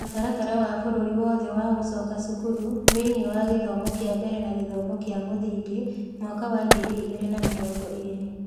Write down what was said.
Mũtaratara wa bũrũri wothe wa gũcoka cukuru thĩinĩ wa gĩthomo kĩa mbere na gĩthomo kĩa mũthingi, mwaka wa ngiri igĩrĩ na mĩrongo ĩĩrĩ)